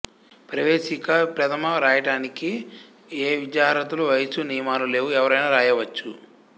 ప్రవేశిక ప్రథమ రాయటానికి ఏ విద్యార్హతలూ వయస్సూ నియమాలు లేవు ఎవరైనా రాయవచ్చు